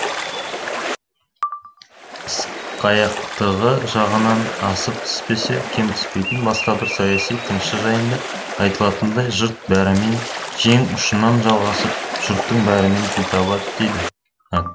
ысқаяқтығы жағынан асып түспесе кем түспейтін басқа бір саяси тыңшы жайында айтылатындай жұрт бәрімен жең ұшынан жалғасып жұрттың бәрімен тіл таба білді